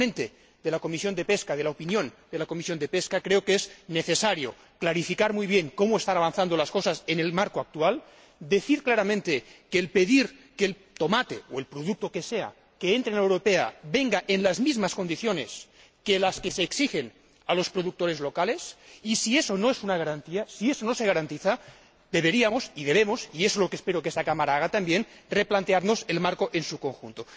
Como ponente de la opinión de la Comisión de Pesca, creo que es necesario clarificar muy bien cómo están avanzando las cosas en el marco actual, pedir claramente que el tomate o el producto que sea que entre en la Unión Europea venga en las mismas condiciones que las que se exigen a los productores locales y, si eso no es una garantía, si eso no se garantiza, deberíamos, y debemos y eso es lo que espero que esta Cámara haga también replantearnos el marco en su conjunto.